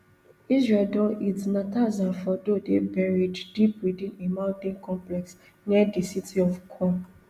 israel don hit natanz and fordo dey buried deep within a mountain complex near di city of qom